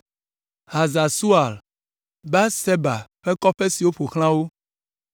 Hazar Sual, Beerseba kple kɔƒe siwo ƒo xlã wo,